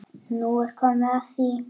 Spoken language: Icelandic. Nú er komið að því!